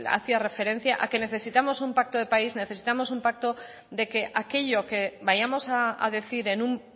hacía referencia a que necesitamos un pacto de país necesitamos un pacto de que aquello que vayamos a decir en un